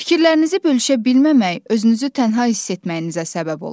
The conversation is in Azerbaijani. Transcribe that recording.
Fikirlərinizi bölüşə bilməmək özünüzü tənha hiss etməyinizə səbəb olar.